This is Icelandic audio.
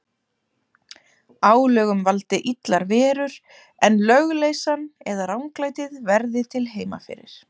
Álögum valdi illar verur, en lögleysan eða ranglætið verði til heima fyrir.